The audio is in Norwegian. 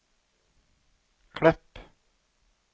Klepp